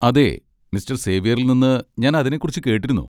അതെ, മിസ്റ്റർ സേവ്യറിൽ നിന്ന് ഞാൻ അതിനെക്കുറിച്ച് കേട്ടിരുന്നു.